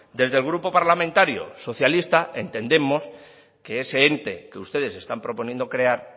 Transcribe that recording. desde el grupo parlamentario socialista entendemos que ese ente que ustedes están proponiendo crear